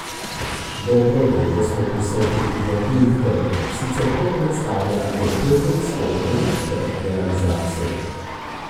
Dobro leto smo prisotni tudi na tujih trgih, sicer to predstavlja le pet odstotkov naše realizacije.